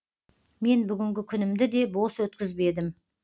мен бүгінгі күнімді де бос өткізбедім